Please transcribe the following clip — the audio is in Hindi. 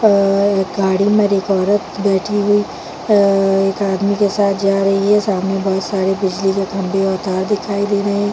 और एक गाड़ी में एक औरत बैठी हुई और एक आदमी के साथ जा रही है सामने बोहत सारे बिजली के खम्भे और तार दिखाई दे रहे हैं।